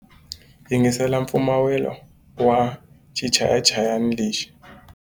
Yingisela mpfumawulo wa xichayachayani lexi.